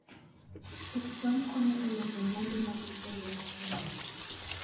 Puoth cham konyo e loso mwandu mag gwenge matindo